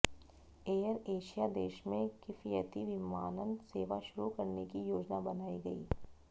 air Asia देश में किफयती विमानन सेवा शुरू करने की योजना बनाई है